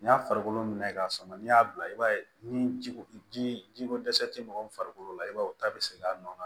N'i y'a farikolo minɛ k'a sama n'i y'a bila i b'a ye ni ji ko ji ko dɛsɛ tɛ mɔgɔ min farikolo la i b'a ye o ta bɛ se k'a nɔ